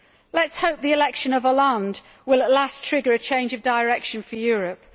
Let us hope that the election of Hollande will at last trigger a change of direction for Europe.